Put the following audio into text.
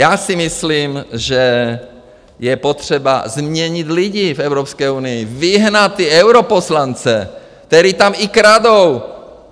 Já si myslím, že je potřeba změnit lidi v Evropské unii, vyhnat ty europoslance, kteří tam i kradou.